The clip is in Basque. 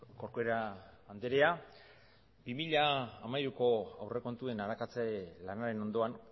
corcuera andrea bi mila hamairuko aurrekontuen arakatze lanaren ondoan